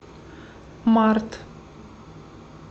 март